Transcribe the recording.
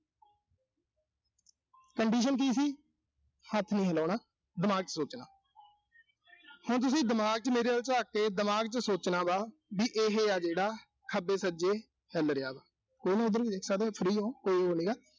condition ਕੀ ਸੀ। ਹੱਥ ਨੀ ਹਿਲਾਉਣਾ। ਦਿਮਾਗ ਚ ਸੋਚਣਾ ਹੁਣ ਤੁਸੀਂ ਦਿਮਾਗ ਚ ਮੇਰੇ ਵੱਲ ਝਾਕ ਕੇ ਦਿਮਾਗ ਚ ਸੋਚਣਾ ਵਾ, ਵੀ ਇਹੇ ਆ ਜਿਹੜਾ ਖੱਬੇ-ਸੱਜੇ ਚੱਲ ਰਿਹਾ ਵਾ। ਠੀਕਾ। ਉਧਰ free ਓਂ